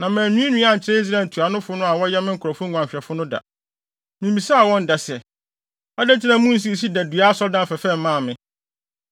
Na mannwiinwii ankyerɛ Israel ntuanofo no a wɔyɛ me nkurɔfo nguanhwɛfo no da. Mimmisaa wɔn da sɛ: “Adɛn nti na munsii sida dua asɔredan fɛfɛ mmaa me?” ’